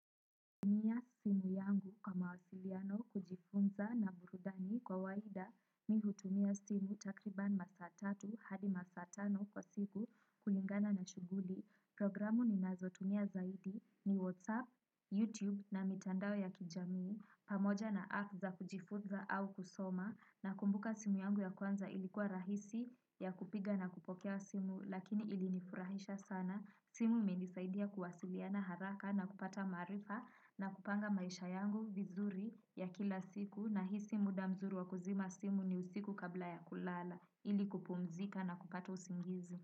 Tumia simu yangu kwa mawasiliano kujifunza na burudani kawaida mihutumia simu takriban masa tatu hadi masa tano kwa siku kulingana na shughuli. Programu ni nazotumia zaidi ni WhatsApp, YouTube na mitandao ya kijamii pamoja na app za kujifunza au kusoma na kumbuka simu yangu ya kwanza ilikuwa rahisi ya kupiga na kupokea simu lakini ili nifurahisha sana. Simu imenisaidia kuwasiliana haraka na kupata maarifa na kupanga maisha yangu vizuri ya kila siku na hii simu muda mzuri wa kuzima simu ni usiku kabla ya kulala ili kupumzika na kupata usingizi.